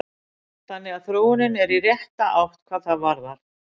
Þannig að þróunin er í rétta átt hvað það varðar.